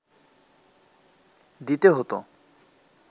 দিতে হতো